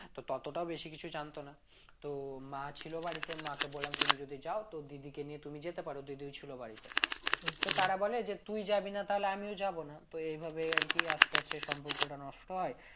তো ততটা বেশি কিছু জানতো না তো মা ছিল বাড়িতে মাকে বললাম তুমি যদি যাও তো দিদিকে নিয়ে তুমি যেতে পারো দিদিও ছিল বাড়িতে হচ্ছে তারা বলে যে তুই যাবি না তাহলে আমিও যাব না তো এইভাবে আর কি আস্তে আস্তে সম্পর্কটা নষ্ট হয়